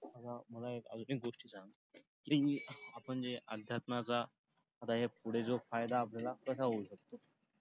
मला एक अजून एक गोष्ट सांग आपण जे अध्यात्माचा आता ह्या पुढे जो फायदा आपल्याला कसा होऊ शकतो?